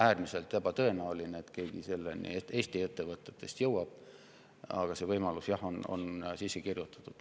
Äärmiselt ebatõenäoline, et mõni Eesti ettevõte selleni jõuab, aga selline võimalus on sisse kirjutatud.